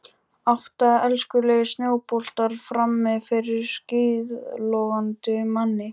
Átta elskulegir snjóboltar frammi fyrir skíðlogandi manni.